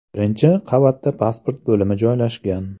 Birinchi qavatda pasport bo‘limi joylashgan.